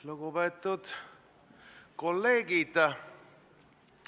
Lugupeetud kolleegid!